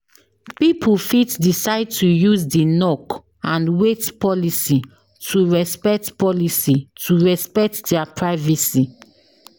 Pipo fit decide to use di knock and wait policy to respect policy to respect their privacy